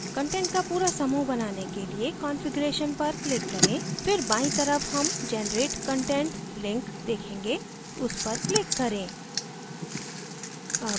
content का पूरा समूह बनाने के लिए configuration पर click करें फिर बायीं तरफ हम generate content link देखेंगे उस पर click करें